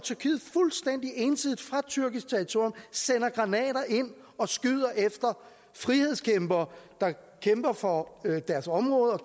fuldstændig ensidigt fra tyrkisk territorium sender granater ind og skyder efter frihedskæmpere der kæmper for deres områder og